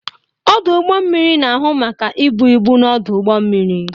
Ọdụ ụgbọ mmiri na-ahụ maka ibu ibu n'ọdụ ụgbọ mmiri.